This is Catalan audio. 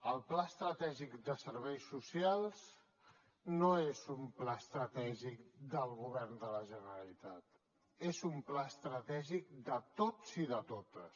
el pla estratègic de serveis socials no és un pla estratègic del govern de la generalitat és un pla estratègic de tots i de totes